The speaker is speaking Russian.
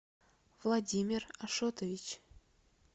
владимир ашотович